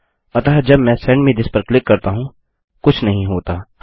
अतः जब मैं सेंड मे थिस पर क्लिक करता हूँ कुछ नहीं होता